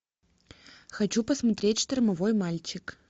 хочу посмотреть штормовой мальчик